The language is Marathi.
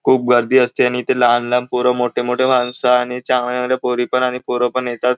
खूप गर्दी असते आणि ते लहान लहान पोरं मोठे मोठे माणसं आणि चांगल्या चांगल्या पोरी पण आणि पोरं येतात.